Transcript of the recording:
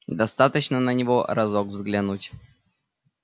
достаточно на него разок взглянуть